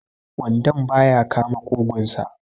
wandon ba ya kama ƙugunsa